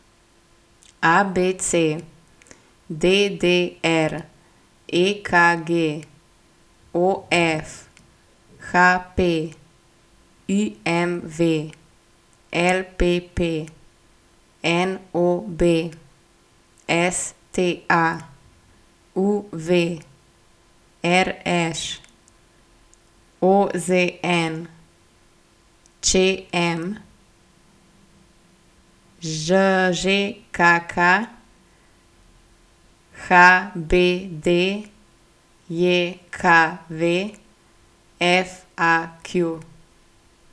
ABC, DDR, EKG, OF, HP, IMV, LPP, NOB, STA, UV, RŠ, OZN, ČM, ŽKK, HBDJKV, FAQ.